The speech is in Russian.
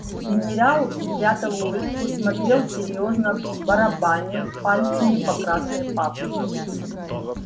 генерал спрятал улыбку смотрел серьёзно барабанил пальцами по красной папке